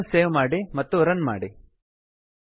ಫೈಲನ್ನು ಸೇವ್ ಮಾಡಿ ರನ್ ಮಾಡಿ